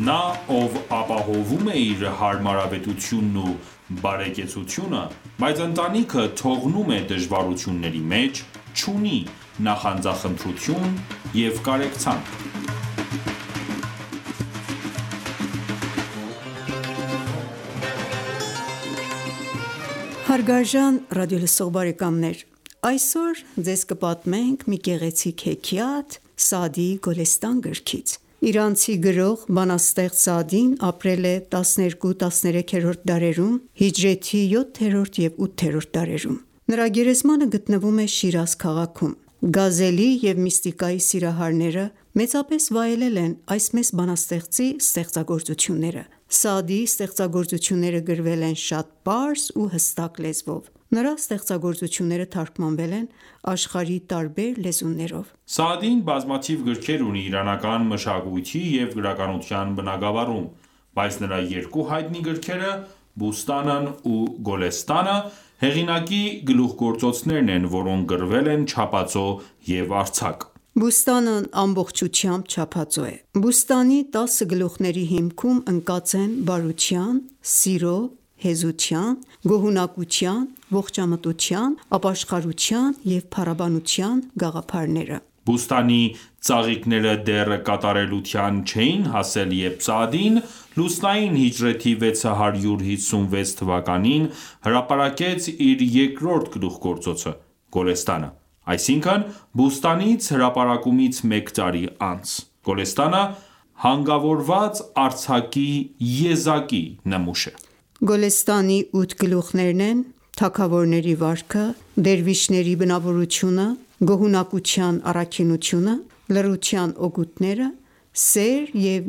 Նա, ով ապահովում է իր հարմարավետությունն ու բարեկեցությունը, բայց ընտանիքը թողնում է դժվարությունների մեջ, չունի նախանձախնդրություն և կարեկցանք: Հարգարժան ռադիոլսող բարեկամներ, այսօր Ձեզ կպատմենք մի գեղեցիկ հեքիաթ Սաադիի Գոլեստան գրքից: Իրանցի գրող, բանաստեղծ Սաադին ապրել է 12-13-րդ դարերում (հիջրեթի 7-րդ և 8-րդ դարերում): Նրա գերեզմանը գտնվում է Շիրազ քաղաքում։ Գազելի և միստիկայի սիրահարները մեծապես վայելել են այս մեծ բանաստեղծի ստեղծագործությունները: Սաադիի ստեղծագործությունները գրվել են շատ պարզ ու հստակ լեզվով: Նրա ստեղծագործությունները թարգմանվել են աշխարհի տարբեր լեզուներով: Սաադին բազմաթիվ գրքեր ունի իրանական մշակույթի և գրականության բնագավառում, բայց նրա երկու հայտնի գրքերը՝ «Բուստանն» ու «Գոլեստանը», հեղինակի գլուխգործոցներն են, որոնք գրվել են չափածո և արձակ։ «Բուստան»-ն ամբողջությամբ չափածո է: «Բուստանի» տասը գլուխ­ների հիմքում ընկած են բարության, սիրո, հեզության, գոհունակության, ողջամտության, ապաշխարության և փառաբանության գաղափարները։ «Բուստանի» ծաղիկները դեռ կատարելության չէին հասել, երբ Սաադին լուսնային հիջրեթի 656 թվականին հրապարակեց իր երկրորդ գլուխգործոցը «Գոլեստանը»,այսինքն Բուստանից հրապարակումից մեկ տարի անց։ «Գոլեստանը» հանգավորված արձակի եզակի նմուշ է: Գոլեստանի ութ գլուխներն են՝ «Թագավորների վարքը», «Դերվիշների բնավորությունը», «Գոհունակության առաքինությունը», «Լռության օգուտները», «Սեր և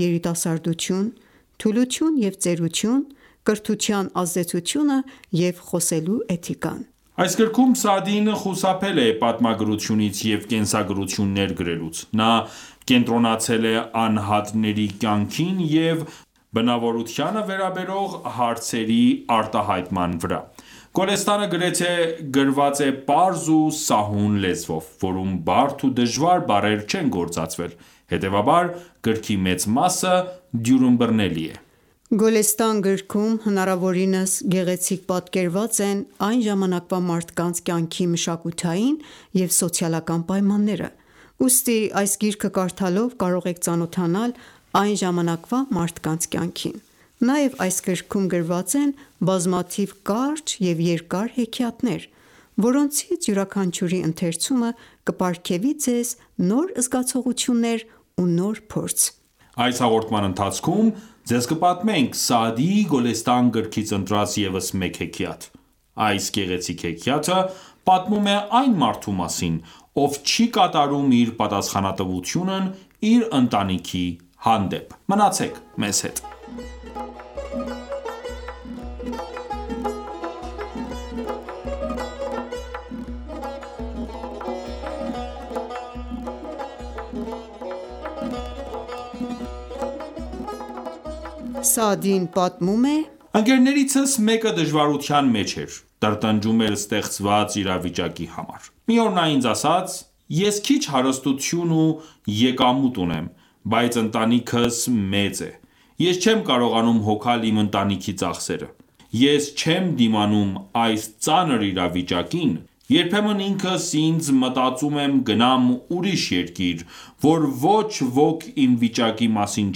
երիտասարդություն», «Թուլություն և ծերություն», «Կրթության ազդեցությունը» և «Խոսելու էթիկան»: Այս գրքում Սաադին խուսափել է պատմագրությունից և կենսագրություններ գրելուց: Նա կենտրոնացել է անհատների կյանքին և բնավորությանը վերաբերող հարցերի արտահայտման վրա: Գոլեստանը գրեթե գրված է պարզ ու սահուն լեզվով, որում բարդ ու դժվար բառեր չեն գործածվել: Հետեւաբար գրքի մեծ մասը դյուրըմբռնելի է: Գոլեստան գրքում հնարավորինս գեղեցիկ պատկերված են այն ժամանակվա մարդկանց կյանքի մշակութային և սոցիալական պայմանները, ուստի այս գիրքը կարդալով կարող եք ծանոթանալ այն ժամանակվա մարդկանց կյանքին: Նաև այս գրքում գրված են բազմաթիվ կարճ և երկար հեքիաթներ, որոնցից յուրաքանչյուրի ընթերցումը կպարգևի Ձեզ նոր զգացողություններ ու նոր փորձ: Այս հաղորդման ընթացքում ձեզ կպատմենք Սաադիի Գոլեստան գրքից ընտրած ևս մեկ հեքիաթ։ Այս գեղեցիկ հեքիաթը պատմում է այն մարդու մասին, ով չի կատարում իր պատասխանատվությունն իր ընտանիքի հանդեպ։ Մնացեք մեզ հետ։ Սաադին պատմում է․-Ընկերներիցս մեկը դժվարության մեջ էր։ Տրտնջում էր ստեղծված իրավիճակի համար։ Մի օր նա ինձ ասաց․-«Ես քիչ հարստություն ու եկամուտ ունեմ, բայց ընտանիքս մեծ է։ Ես չեմ կարողանում հոգալ իմ ընտանիքի ծախսերը։ Ես չեմ դիմանում այս ծանր իրավիճակին։ Երբեմն ինքս ինձ մտածում եմ գնամ ուրիշ երկիր, որ ոչ ոք իմ վիճակի մասին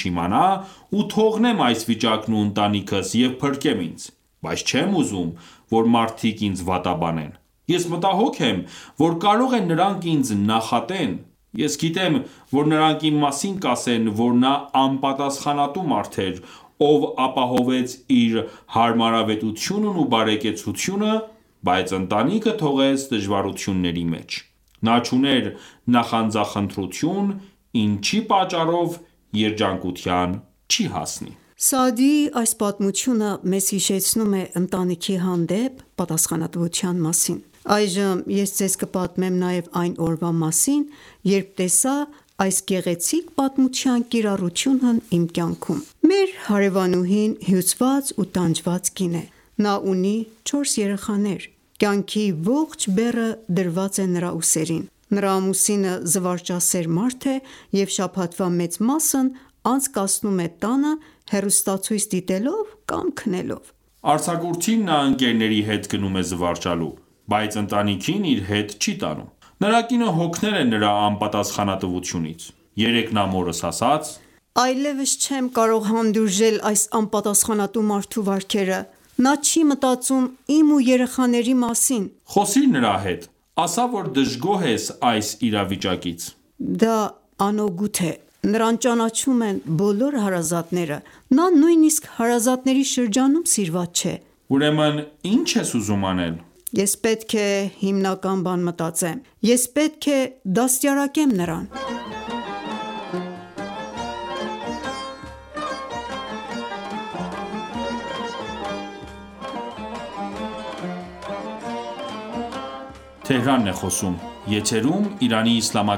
չիմանա ու թողնեմ այս վիճակն ու ընտանիքս և փրկեմ ինձ։ Բայց չեմ ուզում ,որ մարդիկ ինձ վատաբանեն։ Ես մտահոգ եմ ,որ կարող է նրանք ինձ նախատեն։ Ես գիտեմ, որ նրանք իմ մասին կասեն ,որ նա անպատասխանատու մարդ էր, ով ապահովեց իր հարմարավետությունն ու բարեկեցությունը, բայց ընտանիքը թողեց դժվարությունների մեջ։ Նա չուներ նախանձախնդրություն ,ինչի պատճառով երջանկության չի հասնի»։ Պատմող․-Սաադիի այս պատմությունը մեզ հիշեցնում է ընտանիքի հանդեպ պատասխանատվության մասին։ Այժմ ես ձեզ կպատմեմ նաև այն օրվա մասին, երբ տեսա այս գեղեցիկ պատմության կիրառությունն իմ կյանքում։ Մեր հարեւանուհին հյուծված ու տանջված կին է։ Նա ունի չորս երեխաներ։ Կյանքի ողջ բեռը դրված է նրա ուսերին։ Նրա ամուսինը զվարճասեր մարդ է և շաբաթվա մեծ մասն անցկացնում է տանը՝ հեռուստացույց դիտելով կամ քնելով։ Արձակուրդին նա ընկերների հետ գնում է զվարճանալու, բայց ընտանիքին իր հետ չի տանում։ Նրա կինը հոգնել է նրա անպատասխանատվությունից։ Երեկ նա մորս ասաց. -Այլևս չեմ կարող հանդուրժել այս անպատասխանատու մարդու վարքերը։ Նա չի մտածում իմ ու երեխաների մասին։ -Խոսիր նրա հետ, ասա որ դժգոհ ես այս իրավիճակից: - Դա անօգուտ է: Նրան ճանաչում են բոլոր հարազատները։ Նա նույնիսկ հարազատների շրջանում սիրված չէ։ -Ուրեմն ի՞նչ ես ուզում անել։ -Ես պետք է հիմնական բան մտածեմ։ Ես պետք է դաստիարակեմ նրան։ Պատմող-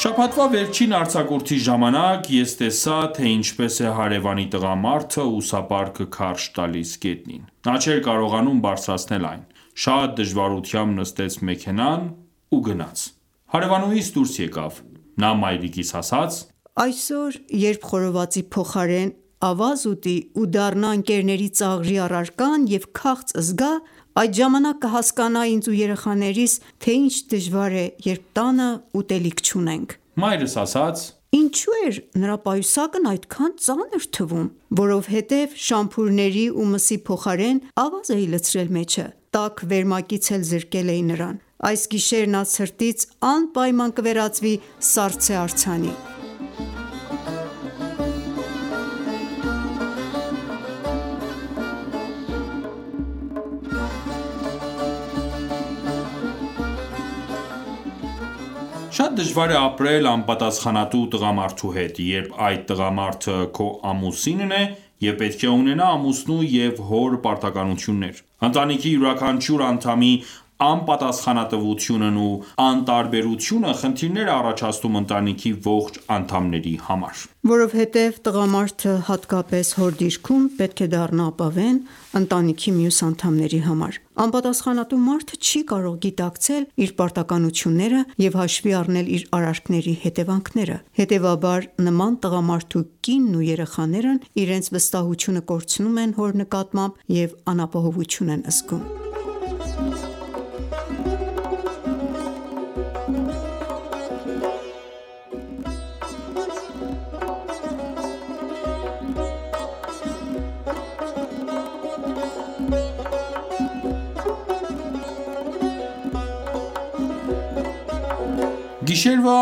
Շաբաթվա վերջին արձակուրդի ժամանակ, ես տեսա, թե ինչպես է հարևանի տղամարդը ուսապարկը քարշ տալիս գետնին։ Նա չէր կարողանում բարձրացնել այն։ Շատ դժվարությամբ նստեց մեքենան ու գնաց։ Հարևանուհիս դուրս եկավ։ Նա մայրիկիս ասաց. «Այսօր, երբ խորովածի փոխարեն ավազ ուտի ու դառնա ընկերների ծաղրի առարկան,և քաղց զգա, այդ ժամանակ կհասկանա ինձ ու երեխաներիս, թե ինչ դժվար է, երբ տանը ուտելիք չունենք»։ -Մայրս ասաց. Ինչո՞ւ էր նրա պայուսակն այդքան ծանր թվում։ -Որովհետև շամփուրների ու մսի փոխարեն ավազ էի լցրել մեջը։ Տաք վերմակից էլ զրկել էի նրան։ Այս գիշեր նա ցրտից անպայման կվերածվի սառցե արձանի։ Հաղորդավար․-Շատ դժվար է ապրել անպատասխանատու տղամարդու հետո, երբ այդ տղամարդը քո ամուսինն է և պետք է ունենա ամուսնու և հոր պարտականություններ։ Ընտանիքի յուրաքանչյուր անդամի անպատասխանատվությունն ու անտարբերությունը խնդիրներ է առաջացնում ընտանիքի ողջ անդամների համար։ Որովհետև տղամարդը, հատկապես հոր դիրքում, պետք է դառնա ապավեն ընտանիքի մյուս անդամների համար: Անպատասխանատու մարդը չի կարող գիտակցել իր պարտականությունները և հաշվի առնել իր արարքների հետևանքները։ Հետևաբար նման տղամարդու կինն ու երեխաներն իրենց վստահությունը կորցնում են հոր նկատմամբ և անապահովություն են զգում։ Պատմող․-Գիշերվա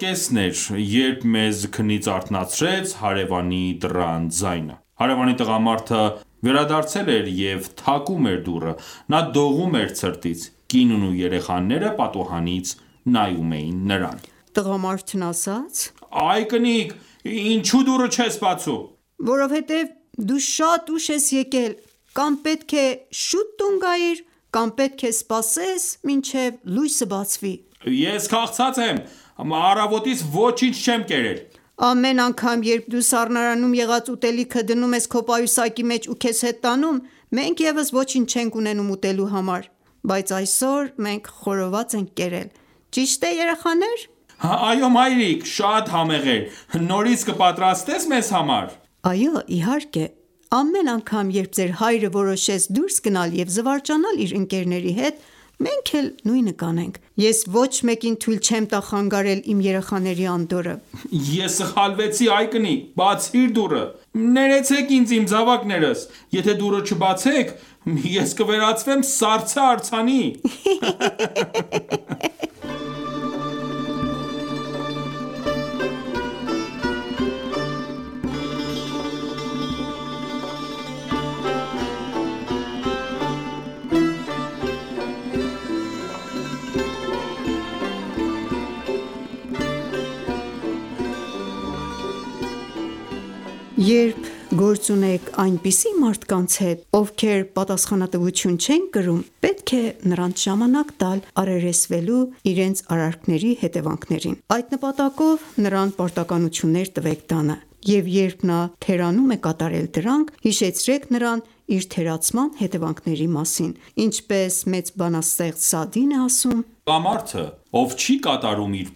կեսն էր, երբ մեզ քնից արթնացրեց հարեւանի դռան ձայնը։ Հարևանի տղամարդը վերադարձել էր և թակում էր դուռը։ Նա դողում էր ցրտից։ Կինն ու երեխաները պատուհանից նայում էին նրան։ Տղամարդն ասաց. -Այ կնիկ ի՞նչու դուռը չես բացում։ Կին – Որովհետև դու շատ ուշ ես եկել: Կամ պետք է շուտ տուն գայիր, կամ պետք է սպասես մինչև լույսը բացի ։ -Ես քաղցած եմ։ Առավոտից ոչինչ չեմ կերել։ - Ամեն անգամ երբ դու սառնարանում եղած ուտելիքը դնում ես քո պայուսակի մեջ ու քեզ հետ տանում ,մենք ևս ոչինչ չենք ունենում ուտելու համար։ Բայց այսօր մենք խորոված ենք կերել։ Ճի՞շտ է երեխան։ Երեխաներն ասացին․-Այո մայրիկ, շատ համեղ էր։ Նորից կպատրաստե՞ս մեզ համար։ Այո իհարկե. Ամեն անգամ, երբ ձեր հայրը որոշեց դուրս գնալ և զվարճանալ իր ընկերների հետ, մենք էլ նույնը կանենք։ Ես ոչ մեկին թույլ չեմ տա խանգարել իմ երեխաների անդորրը։ Ես սխալվեցի։ Այ կնիկ, բացիր դուռը։ Ներեցեք ինձ իմ զավակներս։ Եթե ​​դուռը չբացեք, ես կվերածվեմ սառցե արձանի։ Երբ գործ ունեք այնպիսի մարդկանց հետ, ովքեր պատասխանատվություն չեն կրում, պետք է նրանց ժամանակ տալ՝ առերեսվելու իրենց արարքների հետևանքներին: Այդ նպատակով նրան պարտականություններ տվեք տանը և երբ նա թերանում կատարել դրանք, հիշեցրեք նրան իր թերացման հետևանքների մասին: Ինչպես մեծ բանաստեղծ Սաադին է ասում,- «Այն տղամարդը, ով չի կատարում իր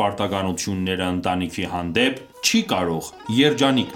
պարտականությունները ընտանիքի հանդեպ, չի կարող երջանիկ